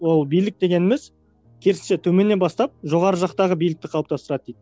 ол билік дегеніміз керісінше төменнен бастап жоғары жақтағы билікті қалыптастырады дейді